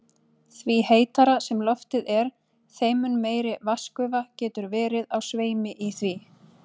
Því heitara sem loftið er, þeim mun meiri vatnsgufa getur verið á sveimi í því.